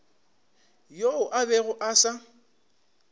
yoo a bego a sa